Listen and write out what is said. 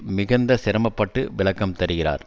மிகுந்த சிரமப்பட்டு விளக்கம் தருகிறார்